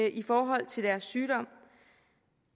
i forhold til deres sygdom